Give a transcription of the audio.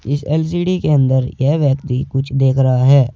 इस एल_सी_डी के अंदर यह व्यक्ति कुछ देख रहा है।